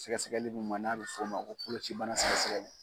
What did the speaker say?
Sɛgɛsɛgɛli min ma n'a bɛ f'o ma ko kuloci bana sɛgɛsɛgɛli.